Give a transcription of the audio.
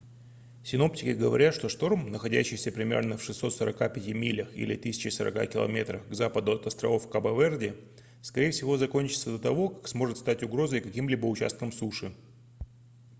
синоптики говорят что шторм находящийся примерно в 645 милях 1040 км к западу от островов кабо-верде скорее всего закончится до того как сможет стать угрозой каким-либо участкам суши